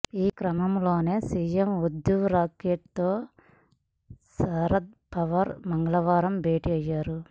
ఈ క్రమంలోనే సీఎం ఉద్ధవ్ ఠాక్రేతో శరద్ పవార్ మంగళవారం భేటీ అయ్యారు